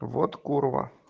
вот курва